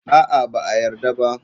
A'a, ba a yarda ba.